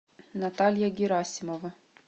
наталья герасимова